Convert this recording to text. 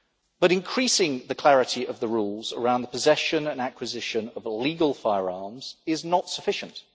But increasing the clarity of the rules around the possession and acquisition of illegal firearms is not sufficient.